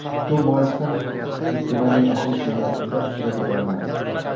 Shu boisdan festivalning ochilish marosimida ishtirok eta olmadim.